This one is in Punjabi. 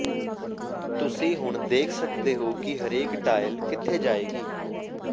ਤੁਸੀਂ ਹੁਣ ਦੇਖ ਸਕਦੇ ਹੋ ਕਿ ਹਰੇਕ ਟਾਇਲ ਕਿੱਥੇ ਜਾਏਗੀ